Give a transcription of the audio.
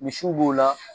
Misiw b'o la